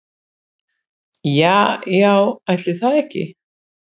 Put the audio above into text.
Ja já ætli það ekki.